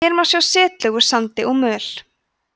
hér má sjá setlög úr sandi og möl